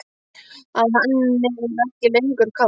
Að henni er ekki lengur kalt.